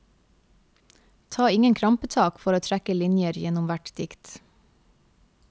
Ta ingen krampetak for å trekke linjer gjennom hvert dikt.